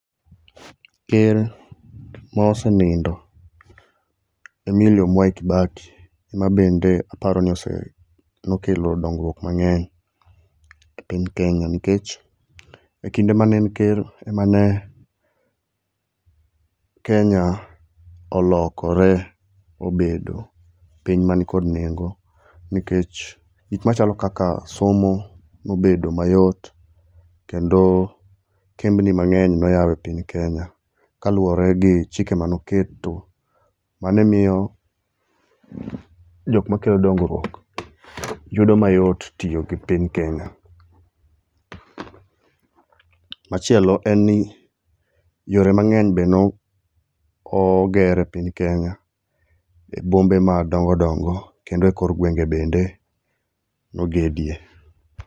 Ker maosenindo Emilio Mwai Kibaki, ema bende aparo ni ose nokelo dongrwuok mang'eny e piny Kenya, nkech, e kinde mane en ker emane Kenya olokore obedo piny man kod nengo. Nkech gik machalo kaka somo nobedo mayot, kendo kembni mang'eny noyau e piny Kenya kaluore gi chike manoketo. Manemio jok makelo dongrwuok yudo mayot tio gi piny Kenya. Machielo enni yore mang'eny be no oh oger e piny Kenya e bombe madongo dongo kendo e kor gwenge bende nogedie.